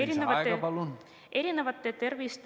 Lisaaeg, palun!